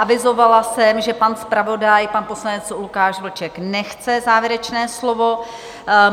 Avizovala jsem, že pan zpravodaj, pan poslanec Lukáš Vlček, nechce závěrečné slovo.